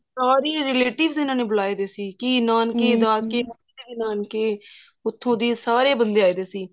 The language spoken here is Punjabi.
ਸਾਰੇ ਰੇਲਾਤੀਵੇਸ ਇਹਨਾ ਨੇ ਬੁਲਾਏ ਹੋਏ ਸੀ ਕੀ ਨਾਨਕੇ ਕੀ ਦਾਦਕੇ ਕੀ ਫਾਫ੍ਕੇ ਉੱਥੋਂ ਦੀ ਸਾਰੇ ਬੰਦੇ ਆਏ ਹੋਏ ਈ